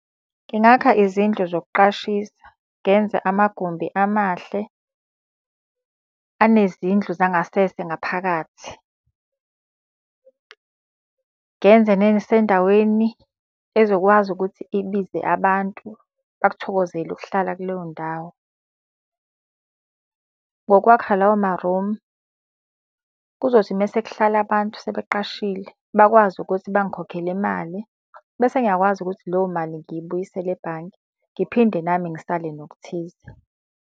Ngingakha izindlu zokuqashisa, ngenze amagumbi amahle anezindlu zangasese ngaphakathi. Ngenze sendaweni ezokwazi ukuthi ibize abantu bakuthokozele ukuhlala kuleyo ndawo. Ngokwakha lawo ma-room, kuzothi uma sekuhlala abantu sebeqashile bakwazi ukuthi bangikhokhele imali, bese ngiyakwazi ukuthi leyo mali ngiyibuyisele ebhange, ngiphinde nami ngisale nokuthize.